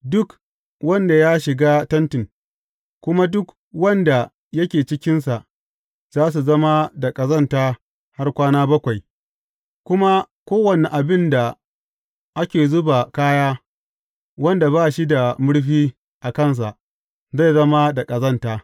Duk wanda ya shiga tentin, kuma duk wanda yake cikinsa, za su zama da ƙazanta har kwana bakwai, kuma kowane abin da ake zuba kaya, wanda ba shi da murfi a kansa, zai zama da ƙazanta.